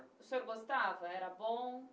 O senhor gostava? Era bom?